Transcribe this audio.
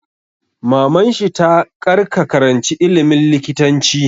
Maman shi ta 'Kar ka karanci ilimin likitanci'!